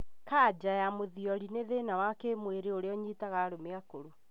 Kanja ya mũthiori nĩ thĩna wa kĩmwĩrĩ ũrĩa ũnyitaga arũme akũrũ